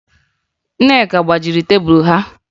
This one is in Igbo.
Nneka gbajiri tebulu ha